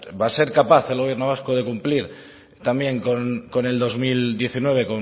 va a ser capaz el gobierno vasco de cumplir también con el dos mil diecinueve